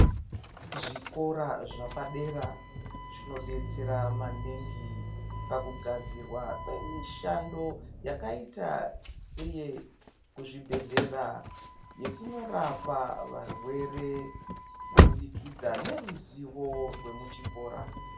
Zvikora zvapadera zvinobetsera maningi pakugadzirwa kwemishando yakaita seye kuzvibhedhlera. Yekunorapa varwere kubudikidza neruzivo rwemuchikora.